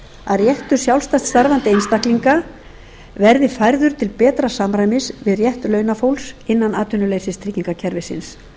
að réttur sjálfstætt starfandi einstaklinga verði færður til betra samræmis við rétt launafólks innan atvinnuleysistryggingakerfisins